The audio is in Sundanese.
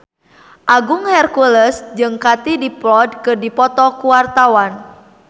Agung Hercules jeung Katie Dippold keur dipoto ku wartawan